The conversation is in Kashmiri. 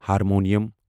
ہارمونیم